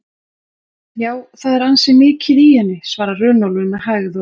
Já, það er ansi mikið í henni, svarar Runólfur með hægð og